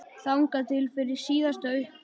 Þangað til fyrir síðasta uppboð.